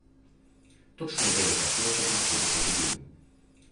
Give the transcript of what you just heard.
Točno je vedel, kaj hoče in kako bo to dobil.